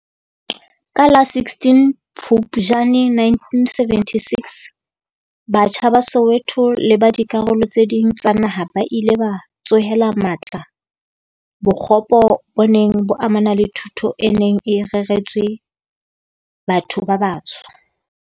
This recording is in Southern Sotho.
Ka la 16 Phupjane 1976, batjha ba Soweto le ba dikarolo tse ding tsa naha ba ile ba tsohela matla bokgopo bo neng bo amana le thuto e neng e reretswe batho ba batsho.